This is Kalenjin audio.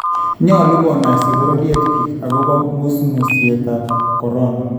Nnyolu konaaisi bororyet biik akopo ngusngusyet ap korona